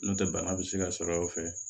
N'o tɛ bana bɛ se ka sɔrɔ o fɛ